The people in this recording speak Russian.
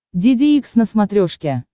деде икс на смотрешке